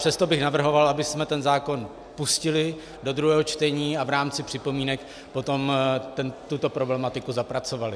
Přesto bych navrhoval, abychom ten zákon pustili do druhého čtení a v rámci připomínek potom tuto problematiku zapracovali.